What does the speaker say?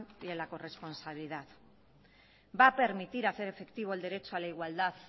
y en la corresponsabilidad va a permitir hacer efectivo el derecho a la igualdad